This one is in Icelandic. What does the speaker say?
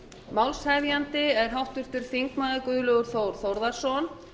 málshefjandi er háttvirtur þingmaður guðlaugur þór þórðarson